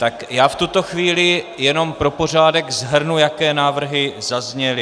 Tak já v tuto chvíli jenom pro pořádek shrnu, jaké návrhy zazněly.